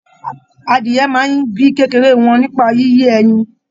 Adìyẹ máa n bíi kékeré wọn nípa yíyé ẹyìn.